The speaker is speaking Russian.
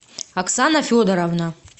оксана федоровна